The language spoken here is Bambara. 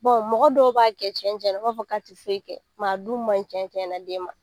mɔgɔ dɔw b'a kɛ cɛncɛnna u b'a fɔ ka ti foyi kɛ a dun ma ɲi cɛncɛnna den ma.